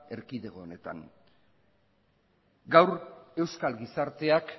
erkidego honetan gaur euskal gizarteak